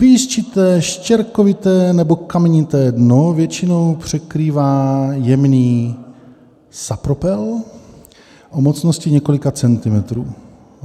Písčité, štěrkovité nebo kamenité dno většinou překrývá jemný sapropel o mocnosti několika centimetrů.